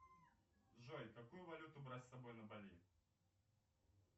джой какую валюту брать с собой на бали